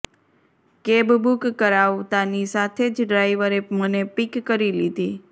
cab book કરાવતાની સાથે જ ડ્રાઇવરે મને પિક કરી લીધી